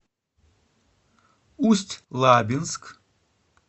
усть лабинск